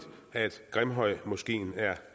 at grimhøjmoskeen er